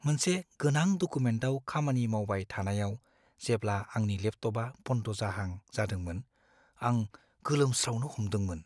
मोनसे गोनां डकुमेन्टआव खामानि मावबाय थानायाव जेब्ला आंनि लेपटपआ बन्द जाहां जादोंमोन आं गोलोमस्रावनो हमदोंमोन ।